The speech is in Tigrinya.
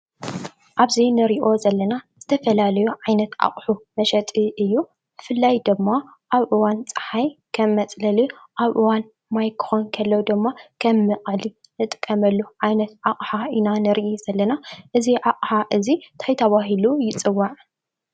ኣብዚ ንሪኦ ዘለና ዝተፈላለዩ ዓይነት ኣቑሑ መሸጢ እዩ ።ብፍላይ ድማ ኣብ እዋን ፅሓይ ከም መፅለሊ ኣብ እዋን ማይ ክኾን ከሎ ድማ ከም መዕቀሊ ንጥቀመሉ ዓይነት ኣቅሓ ኢና ንርኢ ዘለና። እዚ ኣቅሓ እዚ ታይ ተባሂሉ ይፅዋዕ?